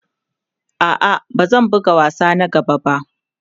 A'a, ba zan buga wasa na gaba ba.